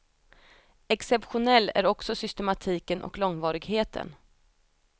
Exceptionell är också systematiken och långvarigheten.